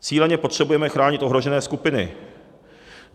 Cíleně potřebujeme chránit ohrožené skupiny.